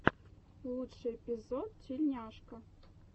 лучший эпизод тилльняшка